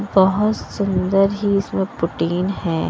बहुत सुंदर ही इसमें प्रोटीन है।